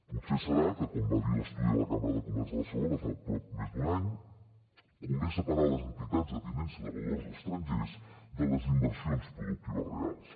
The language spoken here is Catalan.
potser deu ser que com va dir l’estudi de la cambra de comerç de barcelona fa prop més d’un any convé separar les entitats de tinença de valors estrangers de les inversions productives reals